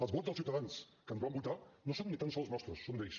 els vots dels ciutadans que ens van votar no són ni tan sols nostres són d’ells